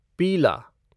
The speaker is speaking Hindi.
पीला